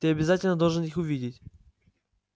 ты обязательно должен их увидеть